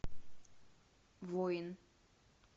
воин